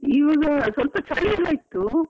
ಇವಾಗ ಸ್ವಲ್ಪ ಚಳಿಯೆಲ್ಲಾ ಇತ್ತು.